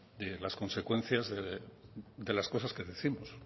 de las consecuencias de las cosas que décimos